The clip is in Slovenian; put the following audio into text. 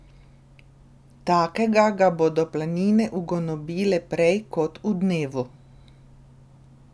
Takega ga bodo planine ugonobile prej kot v dnevu.